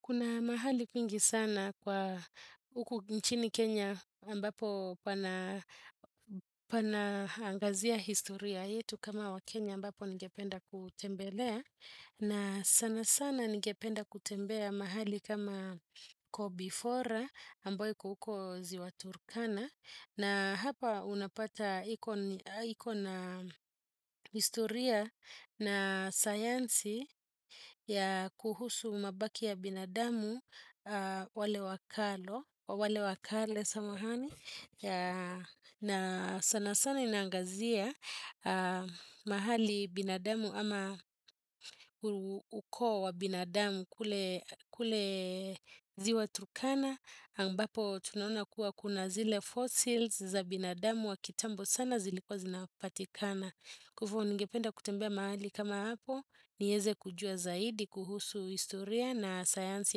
Kuna mahali pingi sana kwa uku nchini Kenya ambapo pana angazia historia yetu kama wakenya ambapo ningependa kutembelea na sana sana ningependa kutembea mahali kama Kobifora ambayo iko huko ziwa Turkana. Na hapa unapata ikona istoria na sayansi ya kuhusu mabaki ya binadamu wale wakalo, wale wakale samahani. Na sana sana inangazia mahali binadamu ama uko wa binadamu kule ziwa turkana ambapo tunaona kuwa kuna zile fossils za binadamu wa kitambo sana zilikwa zinapatikana Kufo ningependa kutembea mahali kama hapo nieze kujua zaidi kuhusu historia na sayansi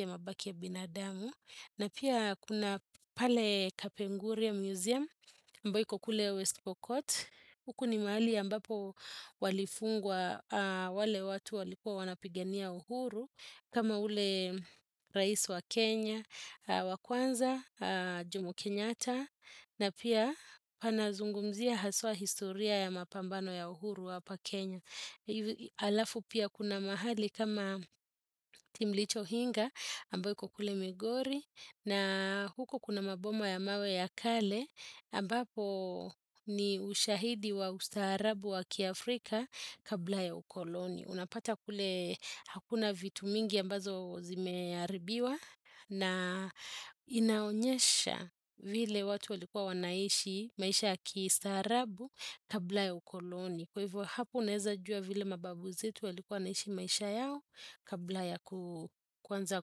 ya mabaki ya binadamu na pia kuna pale kapenguriya museum ambayo iko kule West pokot. Huku ni mahali ambapo walifungwa wale watu walikua wanapigenia uhuru. Kama ule raisi wa Kenya, wakwanza, jomo kenyatta. Na pia panazungumzia haswa historia ya mapambano ya uhuru wapa kenya. Alafu pia kuna mahali kama timlicho hinga amboi kukule migori. Na huko kuna maboma ya mawe ya kale ambapo ni ushahidi wa ustaharabu wa kia Afrika kabla ya ukoloni. Unapata kule hakuna vitu mingi ambazo zimearibiwa na inaonyesha vile watu walikuwa wanaishi maisha ya kistaharabu kabla ya ukoloni. Kwa hivyo hapo uneza jua vile mababu zetu walikuwa naishi maisha yao kabla ya kuanza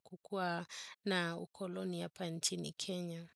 kukua na ukoloni hapa nchini Kenya.